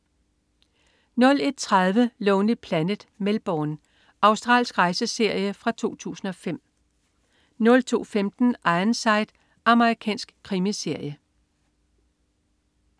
01.30 Lonely Planet: Melbourne. Australsk rejseserie fra 2005 02.15 Ironside. Amerikansk krimiserie